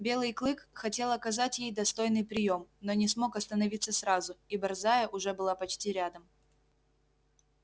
белый клык хотел оказать ей достойный приём но не смог остановиться сразу и борзая уже была почти рядом